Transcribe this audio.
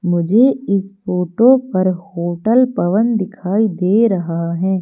मुझे इस फोटो पर होटल पवन दिखाई दे रहा है।